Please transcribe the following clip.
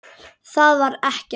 Þak var ekkert.